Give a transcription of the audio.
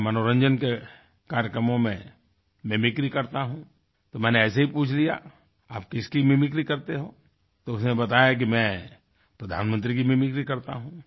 मैं मनोरंजन के कार्यक्रमों में मिमिक्री करता हूँतो मैंने ऐसे ही पूछ लिया आप किसकी मिमिक्री करते हो तो उसने बताया कि मैं प्रधानमंत्री की मिमिक्री करता हूँ